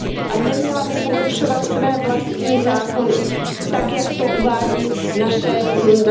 A neměla by porušovat své vlastní zákony tak, jak to uvádí naše usnesení.